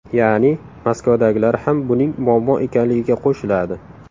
Ya’ni Moskvadagilar ham buning muammo ekanligiga qo‘shiladi”.